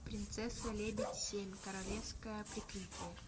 принцесса лебедь семь королевское прикрытие